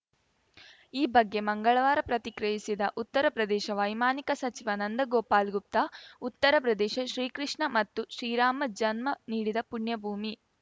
ಈ ಬಗ್ಗೆ ಮಂಗಳವಾರ ಪ್ರತಿಕ್ರಿಯಿಸಿದ ಉತ್ತರ ಪ್ರದೇಶ ವೈಮಾನಿಕ ಸಚಿವ ನಂದ ಗೋಪಾಲ್ ಗುಪ್ತಾ ಉತ್ತರ ಪ್ರದೇಶ ಶ್ರೀಕೃಷ್ಣ ಮತ್ತು ಶ್ರೀರಾಮ ಜನ್ಮ ನೀಡಿದ ಪುಣ್ಯ ಭೂಮಿ